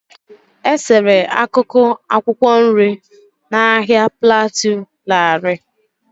E-sere akụkụ akwụkwọ nri na Ahia plateau larịị.